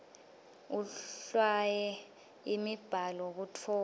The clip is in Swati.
ahlwaye imibhalo kutfola